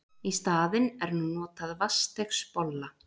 Í staðinn er nú notað vatnsdeigsbolla.